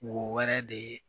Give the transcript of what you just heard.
Wɔɛrɛ de ye